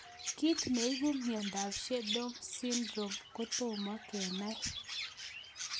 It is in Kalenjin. Kit ne ipu miondop Sneddon Syndrome ko tomo kenai